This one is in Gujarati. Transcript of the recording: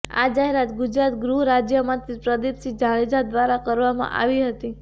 આ જાહેરાત ગુજરાત ગૃહ રાજ્યમંત્રી પ્રદિપસિંહ જાડેજા દ્વારા કરવામાં આવી હતી